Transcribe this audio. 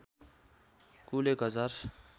कुल १ हजार